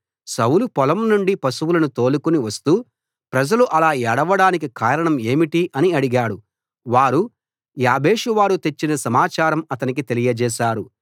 సౌలు పొలం నుండి పశువులను తోలుకుని వస్తూ ప్రజలు అలా ఏడవడానికి కారణం ఏమిటి అని అడిగాడు వారు యాబేషువారు తెచ్చిన సమాచారం అతనికి తెలియజేసారు